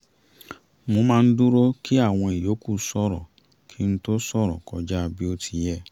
mo máa ń dúró kí àwọn ìyókù sọ̀rọ̀ kí ń tó ṣòrọ̀ kọjá bí ó ti yẹ